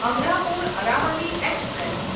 Amarapur Aravali express